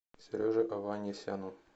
сереже аванесяну